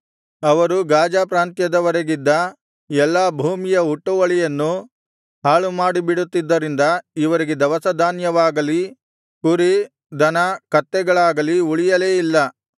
ಅವರು ಗಾಜಾ ಪ್ರಾಂತ್ಯದವರೆಗಿದ್ದ ಎಲ್ಲಾ ಭೂಮಿಯ ಹುಟ್ಟುವಳಿಯನ್ನು ಹಾಳುಮಾಡಿಬಿಡುತ್ತಿದ್ದುದರಿಂದ ಇವರಿಗೆ ದವಸಧಾನ್ಯವಾಗಲಿ ಕುರಿ ದನ ಕತ್ತೆಗಳಾಗಲಿ ಉಳಿಯಲೇ ಇಲ್ಲ